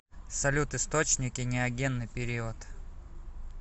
салют источники неогенный период